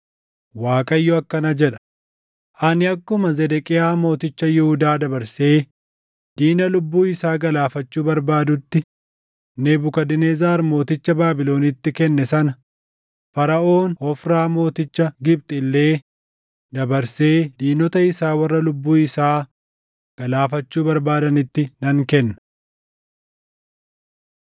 Waaqayyo akkana jedha: ‘Ani akkuma Zedeqiyaa Mooticha Yihuudaa dabarsee diina lubbuu isaa galaafachuu barbaadutti Nebukadnezar mooticha Baabilonitti kenne sana Faraʼoon Hofraa mooticha Gibxi illee dabarsee diinota isaa warra lubbuu isaa galaafachuu barbaadanitti nan kenna.’ ”